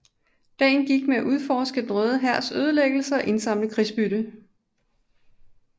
Dagen gik med at udforske den Røde Hærs ødelæggelser og indsamle krigsbytte